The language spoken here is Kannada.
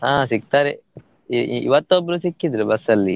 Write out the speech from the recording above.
ಆ ಸಿಕ್ತಾರೆ ಇ~ ಇವತ್ತು ಒಬ್ರು ಸಿಕ್ಕಿದ್ರು bus ಅಲ್ಲಿ.